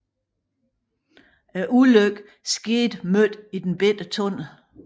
Ulykken skete midt i den lille tunnel